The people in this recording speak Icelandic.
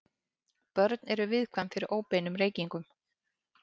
Börn eru mjög viðkvæm fyrir óbeinum reykingum.